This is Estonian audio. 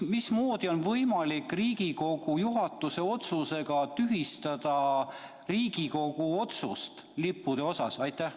Mismoodi on võimalik Riigikogu juhatuse otsusega tühistada Riigikogu otsust lippude kohta?